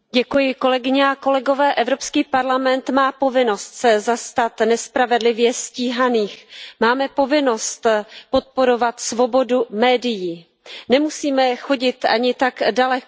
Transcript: Pane předsedající, Evropský parlament má povinnost se zastat nespravedlivě stíhaných, máme povinnost podporovat svobodu médií. Nemusíme chodit ani tak daleko.